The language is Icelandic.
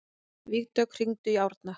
Vígdögg, hringdu í Árna.